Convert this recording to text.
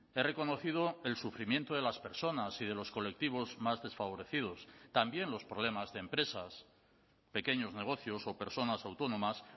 he reconocido el sufrimiento de las personas y de los colectivos más desfavorecidos también los problemas de empresas pequeños negocios o personas autónomas